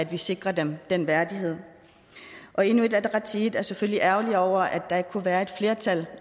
vi sikrer dem den værdighed og inuit ataqatigiit er selvfølgelig ærgerlig over at der ikke kunne være et flertal